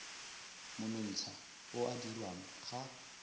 monontsha o o dirwang ga